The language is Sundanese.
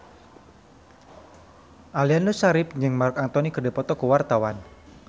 Aliando Syarif jeung Marc Anthony keur dipoto ku wartawan